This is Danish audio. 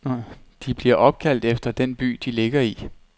De bliver opkaldt efter den by, de ligger i.